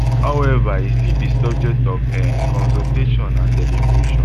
howeva e still be subject of um consultation and deliberation